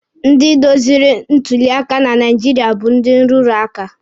Ndị doziri ntuli aka na Naijiria bụ ndị nrụrụ aka.